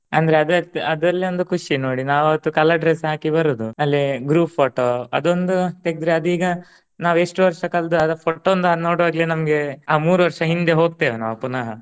ಅಂದ್ರೆ ಅದ್ ಅದ್ರಲ್ಲೆ ಒಂದು ಖುಷಿ ನೋಡಿ ನಾವ್ ಅವತ್ತು colour dress ಹಾಕಿ ಬರುದು. ಅಲ್ಲಿ group photo ಅದೊಂದು ತೆಗ್ದ್ರೆ ಅದೀಗ ನಾವೆಷ್ಟ್ ವರ್ಷ ಕಲ್ತ್ ಅದ್ photo ಒಂದು ನೋಡೋವಾಗ್ಲೆ ನಮ್ಗೆ ಆ ಮೂರು ವರ್ಷ ಹಿಂದೆ ಹೋಗ್ತೇವ್ ನಾವ್ ಪುನಃ.